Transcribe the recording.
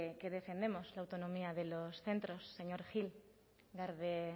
que defendemos la autonomía de los centros señor gil garde